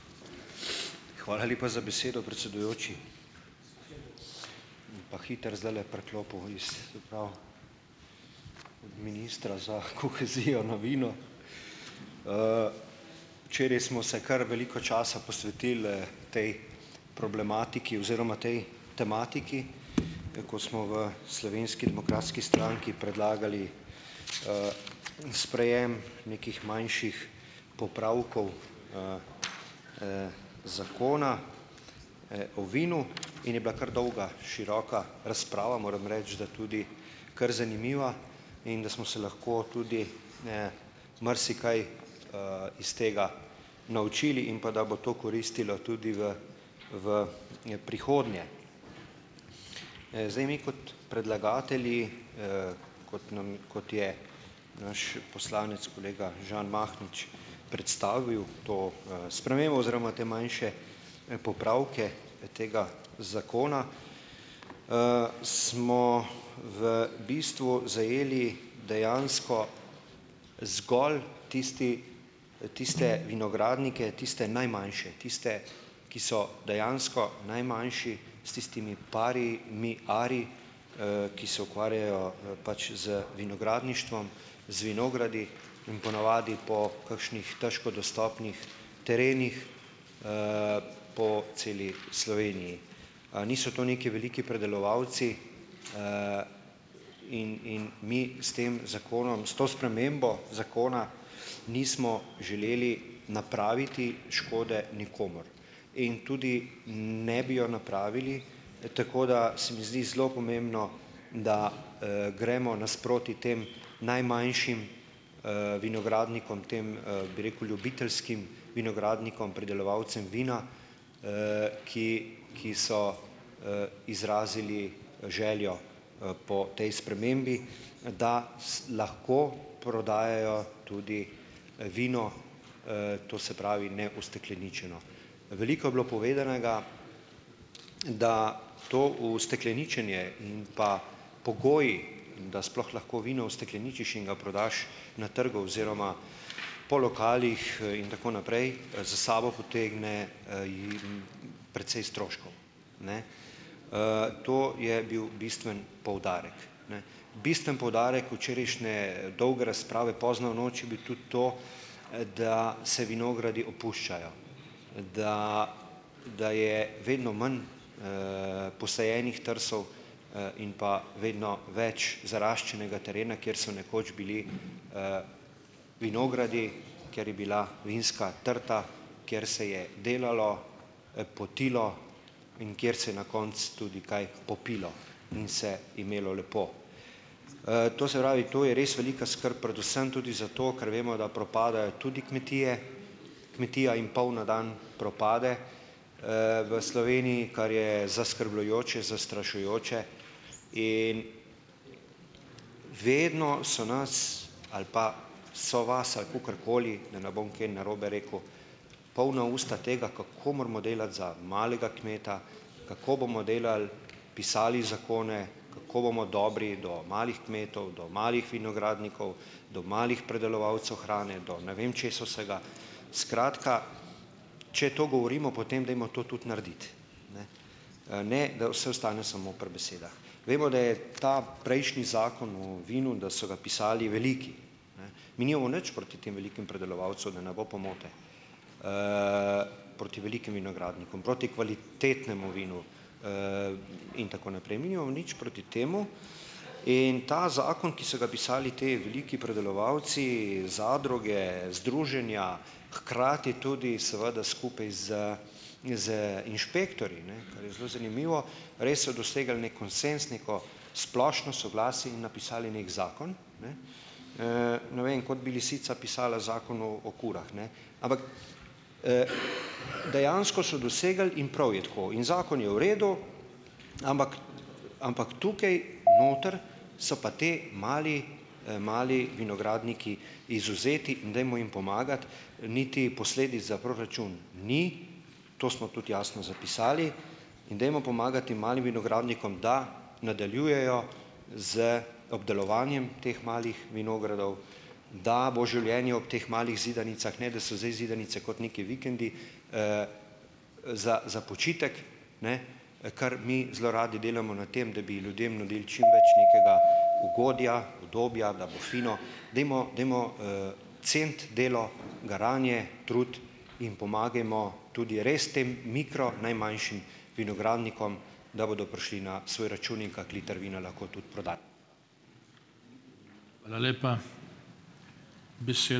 Hvala lepa za besedo, predsedujoči. Pa hitro zdajle preklopil iz, se pravi, ministra za kohezijo na vino. Včeraj smo se kar veliko časa posvetili, tej problematiki oziroma tej tematiki, ko smo v Slovenski demokratski stranki predlagali, sprejem nekih manjših popravkov Zakona, o vinu in je bila, kar dolga, široka razprava, moram reči, da tudi kar zanimiva in da smo se lahko tudi, marsikaj, iz tega naučili in pa, da bo to koristilo tudi v v, prihodnje. Zdaj mi kot predlagatelji, kot nam, kot je naš poslanec kolega Žan Mahnič predstavil to, spremembo oziroma te manjše, popravke, tega zakona, smo v bistvu zajeli dejansko zgolj tisti, tiste vinogradnike, tiste najmanjše, tiste, ki so dejansko najmanjši s tistimi par ari, ki se ukvarjajo, pač z vinogradništvom, z vinogradi in ponavadi po kakšnih težko dostopnih terenih po celi Sloveniji. Niso to neki veliki pridelovalci in in mi s tem zakonom s to spremembo zakona nismo želeli napraviti škode nikomur in tudi ne bi jo napravili, tako da se mi zdi zelo pomembno, da, gremo nasproti tem najmanjšim, vinogradnikom tem, bi rekel ljubiteljskim vinogradnikom pridelovalcem vina, ki ki so, izrazili željo, po tej spremembi, da lahko prodajajo tudi, vino, to se pravi neustekleničeno. Veliko je bilo povedanega, da to ustekleničenje in pa pogoji, da sploh lahko vino ustekleničiš in ga prodaš na trgu oziroma po lokalih, in tako naprej za sabo potegne, jim precej stroškov. Ne. To je bil bistveni poudarek, ne. Bistveni poudarek včerajšnje dolge razprave pozno v noč je bil tudi to, da se vinogradi opuščajo, da da je vedno manj, posajenih trsov, in pa vedno več zaraščenega terena, kjer so nekoč bili vinogradi, kjer je bila vinska trta, kjer se je delalo, potilo, in kjer se je na koncu tudi kaj popilo in se imelo lepo. To se pravi, to je res velika skrb predvsem tudi zato, ker vemo, da propadajo tudi kmetije. Kmetija in pol na dan propade, v Sloveniji, kar je zaskrbljujoče, zastrašujoče. In Vedno so nas ali pa so vas ali kakorkoli, da ne bom kaj narobe rekel, polna usta tega, kako moramo delati za malega kmeta, kako bomo delali, pisali zakone, kako bomo dobri do malih kmetov, do malih vinogradnikov, do malih predelovalcev hrane, do ne vem česa vsega, skratka, če to govorimo, potem dajmo to tudi narediti, ne, ne, da vse ostane samo pri besedah. Vemo, da je ta prejšnji Zakon o vinu, da so ga pisali veliki. Ne. Mi nimamo nič proti tem velikim pridelovalcem, da ne bo pomote, proti velikim vinogradnikom, proti kvalitetnemu vinu, in tako naprej, mi nimamo nič proti temu in ta zakon, ki so ga pisali ti veliki predelovalci, zadruge, združenja, hkrati tudi seveda tudi skupaj z z inšpektorji, ne, kar je zelo zanimivo, res so dosegali neki konsenz, neko splošno soglasje in napisali neki zakon, ne, ne vem, kot bi lisica pisala zakon o o kurah, ne. Ampak, dejansko so dosegli - in prav je tako -, in zakon je v redu. Ampak. Ampak tukaj noter so pa ti mali, mali vinogradniki izvzeti in dajmo jim pomagati, niti posledic za proračun ni, to smo tudi jasno zapisali. In dajmo pomagati tem malim vinogradnikom, da nadaljujejo z obdelovanjem teh malih vinogradov, da bo življenje ob teh malih zidanicah, ne da so zdaj zidanice kot nekaj vikendi, za za počitek, ne, kar mi zelo radi delamo na tem, da bi ljudem nudili čim več nekega ugodja, udobja, da bo fino. Dajmo, dajmo, ceniti delo, garanje, trud in pomagajmo tudi res tem mikro, najmanjšim vinogradnikom, da bodo prišli na svoj račun in kak liter vina lahko tudi prodali.